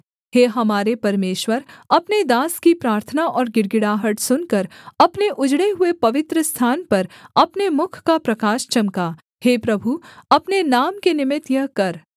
हे हमारे परमेश्वर अपने दास की प्रार्थना और गिड़गिड़ाहट सुनकर अपने उजड़े हुए पवित्रस्थान पर अपने मुख का प्रकाश चमका हे प्रभु अपने नाम के निमित्त यह कर